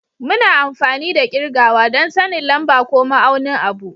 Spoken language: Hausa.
Muna amfani da kirgawa don sanin lamba ko ma'aunin abu